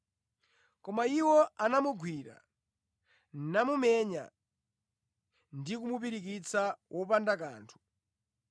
Koma iwo anamugwira, namumenya ndi kumupirikitsa wopanda kanthu.